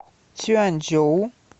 цюаньчжоу